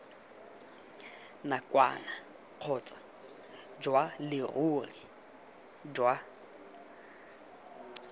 nakwana kgotsa jwa leruri jwa